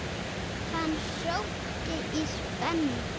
Hann sótti í spennu.